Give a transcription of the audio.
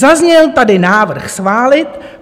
Zazněl tady návrh schválit.